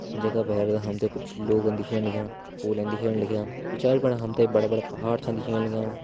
जखा भैर हम त कुछ लोग दिखेण लग्यां कुछ पोल दिखेण लग्यां। पिछाड़ी पर हम त बड़ा बड़ा पहाड़ दिखेण लग्याँ।